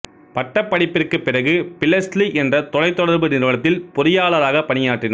பட்டப்படிப்பிற்கு பிறகு பிளெஸ்ஸி என்ற தொலைத்தொடர்பு நிறுவனத்தில் பொறியாளராகப் பணியாற்றினார்